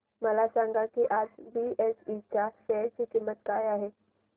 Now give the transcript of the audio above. हे सांगा की आज बीएसई च्या शेअर ची किंमत किती आहे